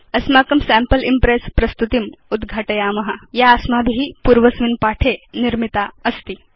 अस्माकं sample Impress प्रस्तुतिम् उद्घाटयाम या अस्माभि पूर्वस्मिन् पाठे या निर्मितास्ति